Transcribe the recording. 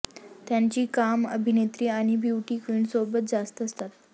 त्याची कामं अभिनेत्री आणि ब्युटी क्विनसोबत जास्त असतात